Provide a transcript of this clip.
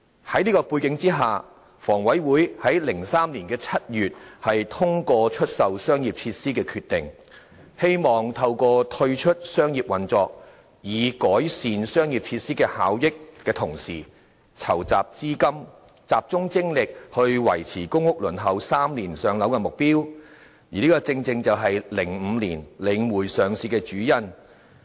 在這背景下，房委會在2003年7月，通過出售商業設施的決定，希望透過退出商業運作，改善商業設施效益的同時，籌集資金，集中精力維持公屋輪候3年上樓的目標，而此正是2005年領匯上市的主因。